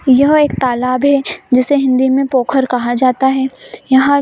यह एक तालाब है जिसे हिंदी में पोखर कहा जाता है यहाँ--